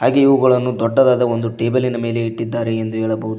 ಇಲ್ಲಿ ಇವುಗಳನ್ನು ಒಂದು ದೊಡ್ಡದಾದ ಒಂದು ಟೇಬಲ್ ಮೇಲೆ ಇಟ್ಟಿದ್ದಾರೆ ಎಂದು ಹೇಳಬಹುದು.